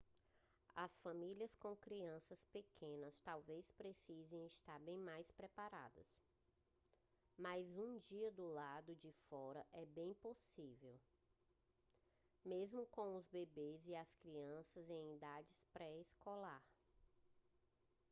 as famílias com crianças pequenas talvez precisem estar mais bem preparadas mas um dia do lado de fora é bem possível mesmo com bebês e crianças em idade pré-escolar